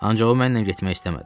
Ancaq o mənlə getmək istəmədi.